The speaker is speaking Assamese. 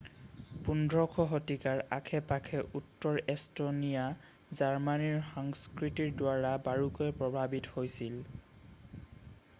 15শ শতিকাৰ আশে পাশে উত্তৰ এষ্টনীয়া জাৰ্মানীৰ সংস্কৃতিৰ দ্বাৰা বাৰুকৈয়ে প্ৰভাৱিত আছিল